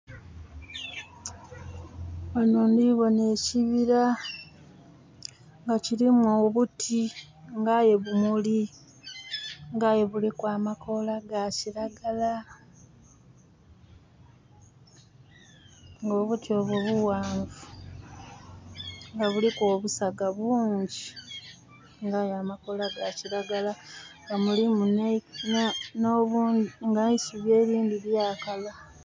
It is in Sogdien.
Ghanho ndhibona ekibira nga kirimu obuti nga aye bumuli nga aye buliku amakoola ga kiragala nga obuti obwo bughanvu nga buliku obusaga bungi nga aye amakoola ga kiragala nga mulimu nh'eisubi erindhi lyakala.